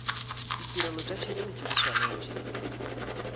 ditirelo tša tšhireletšo di swanetše